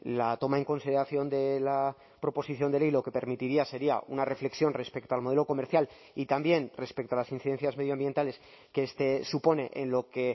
la toma en consideración de la proposición de ley lo que permitiría sería una reflexión respecto al modelo comercial y también respecto a las incidencias medioambientales que este supone en lo que